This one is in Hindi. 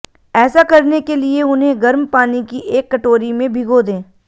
ऐसा करने के लिए उन्हें गर्म पानी की एक कटोरी में भिगो दें